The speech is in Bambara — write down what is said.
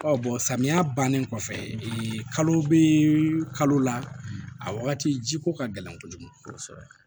samiya bannen kɔfɛ kalo bɛ kalo la a wagati jiko ka gɛlɛn kojugu kosɛbɛ